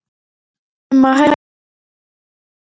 Í ferðum með Esju sjóuðust margir.